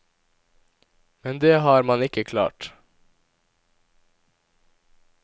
Men det har man ikke klart.